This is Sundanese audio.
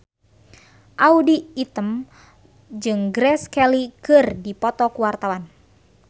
Audy Item jeung Grace Kelly keur dipoto ku wartawan